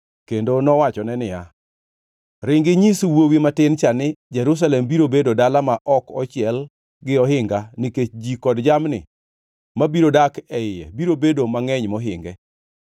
kendo nowachone niya, “Ringi inyis wuowi matin cha ni, ‘Jerusalem biro bedo dala ma ok ochiel gi ohinga nikech ji kod jamni mabiro dak e iye biro bedo mangʼeny mohinge.